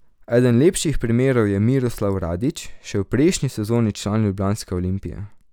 Eden lepših primerov je Miroslav Radović, še v prejšnji sezoni član ljubljanske Olimpije.